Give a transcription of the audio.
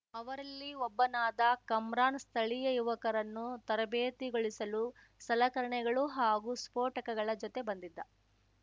ಅವರಲ್ಲಿ ಒಬ್ಬನಾದ ಕಮ್ರಾನ್‌ ಸ್ಥಳೀಯ ಯುವಕರನ್ನು ತರಬೇತುಗೊಳಿಸಲು ಸಲಕರಣೆಗಳು ಹಾಗೂ ಸ್ಫೋಟಕಗಳ ಜೊತೆ ಬಂದಿದ್ದ